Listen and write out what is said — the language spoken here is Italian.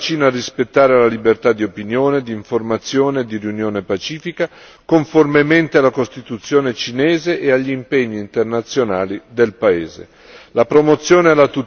L'Unione europea invita la Cina a rispettare le libertà di opinione, d'informazione e di riunione pacifica, conformemente alla Costituzione cinese e agli impegni internazionali del paese.